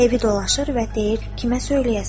Evdə dolaşır və deyir: